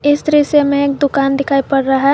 इस दृश्य में एक दुकान दिखाई पड़ रहा है।